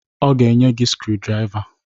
Ọ ga-enye gị skrudraiva.